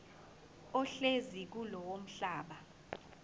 ohlezi kulowo mhlaba